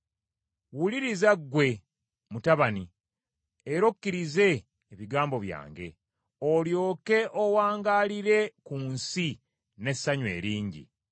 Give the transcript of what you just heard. Wuliriza ggwe, mutabani, era okkirize ebigambo byange olyoke owangaalire ku nsi n’essanyu eringi.